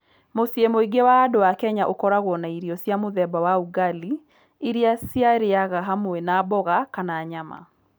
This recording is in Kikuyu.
Mũciĩ mũingĩ wa andũ a Kenya ũkoragwo na irio cia mũthemba wa ugali iria ciarĩaga hamwe na mboga kana nyama.